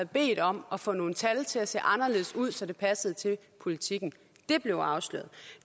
bedt om at få nogle tal til at se anderledes ud så det passede til politikken det blev afsløret